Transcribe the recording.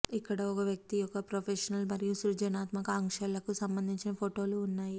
ఇక్కడ ఒక వ్యక్తి యొక్క ప్రొఫెషనల్ మరియు సృజనాత్మక ఆకాంక్షలకు సంబంధించిన ఫోటోలు ఉన్నాయి